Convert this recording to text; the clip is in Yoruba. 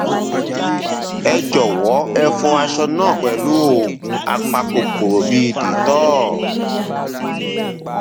ẹ jọwọ ẹ fọ aṣọ náà pẹlú oògùn apakòkòrò bíi dettol